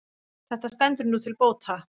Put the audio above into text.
Þetta stendur nú til bóta.